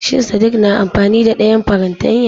Shin sadik na amfani da dayan fartanya?